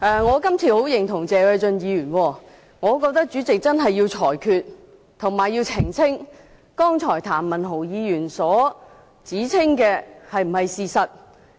我十分認同謝偉俊議員，我認為代理主席須作裁決，並澄清譚文豪議員剛才所說的是否事實。